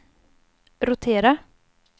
rotera